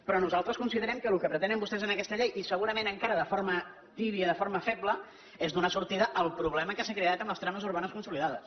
però nosaltres considerem que el que pretenen vostès en aquesta llei i segurament encara de forma tèbia de forma feble és donar sortida al problema que s’ha creat amb les trames urbanes consolidades